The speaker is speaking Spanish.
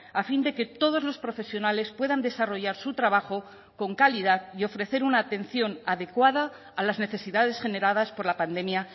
a fin de que todos los profesionales puedan desarrollar su trabajo con calidad y ofrecer una atención adecuada a las necesidades generadas por la pandemia